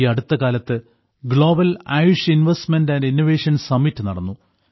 ഈ അടുത്തകാലത്ത് global AYUSH investment and innovation summit നടന്നു